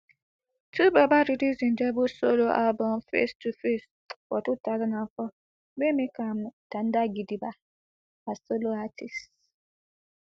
twobaba release im debut solo album face two face for two thousand and four wey make am tanda gidigba as solo artist